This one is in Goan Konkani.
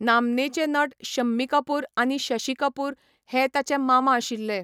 नामनेचे नट शम्मी कपूर आनी शशि कपूर हे ताचे मामा आशिल्ले.